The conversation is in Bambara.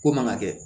Ko man ka kɛ